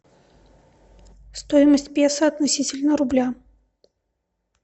стоимость песо относительно рубля